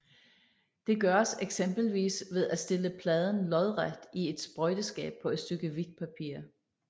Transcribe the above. Det gøres eksempelvis ved at stille pladen lodret i et sprøjteskab på et stykke hvidt papir